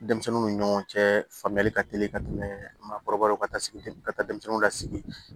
Denmisɛnninw ni ɲɔgɔn cɛ faamuyali ka teli ka tɛmɛ maakɔrɔbaw ka sigi ka taa denmisɛnninw lasigi